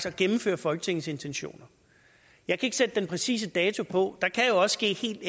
at gennemføre folketingets intentioner jeg kan ikke sætte den præcise dato på og der kan også ske helt